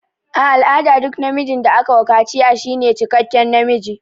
A al'ada duk namijin da aka wa kaciya shine cikekken namiji.